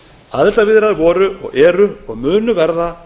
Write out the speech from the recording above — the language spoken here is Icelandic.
aðildarviðræður voru eru og munu verða